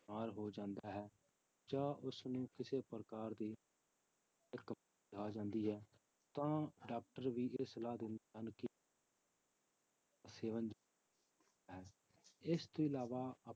ਬਿਮਾਰ ਹੋ ਜਾਂਦਾ ਹੈ ਜਾਂ ਉਸਨੂੰ ਕਿਸੇ ਪ੍ਰਕਾਰ ਦੀ ਆ ਜਾਂਦੀ ਹੈ, ਤਾਂ doctor ਵੀ ਇਹ ਸਲਾਹ ਦਿੰਦੇ ਹਨ ਸੇਵਨ ਹੈ ਇਸ ਤੋਂ ਇਲਾਵਾ